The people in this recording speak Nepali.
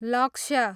लक्ष्य